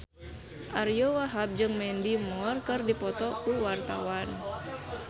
Ariyo Wahab jeung Mandy Moore keur dipoto ku wartawan